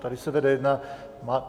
Tady se vede jedna.